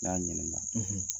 N ɲa ɲininka